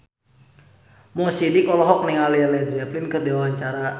Mo Sidik olohok ningali Led Zeppelin keur diwawancara